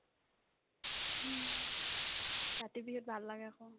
উম্, কাতি বিহুত ভাল লাগে এখন